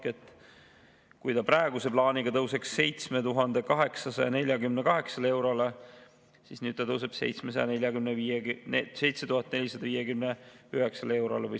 Kui see kohaselt tõuseks 7848 eurole, siis nüüd tõuseb 7459 eurole.